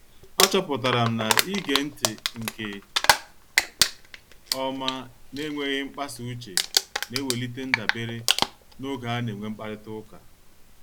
A chọpụtara m na-ige ntị nke ọma na enweghị mkpasa uche na-ewelite ndabere n'oge ana-enwe mkparita ụka